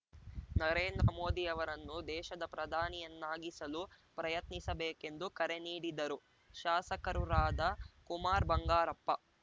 ನರೇಂದ್ರ ಮೋದಿಯವರನ್ನು ದೇಶದ ಪ್ರಧಾನಿಯನ್ನಾಗಿಸಲು ಪ್ರಯತ್ನಿಸಬೇಕೆಂದು ಕರೆನೀಡಿದರು ಶಾಸಕರುರಾದ ಕುಮಾರ್‌ ಬಂಗಾರಪ್ಪ